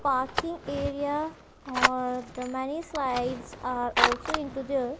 parking area or there many slides are also into there.